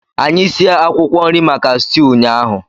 Anyị sie akwụkwọ nri maka stew ụnyaahụ.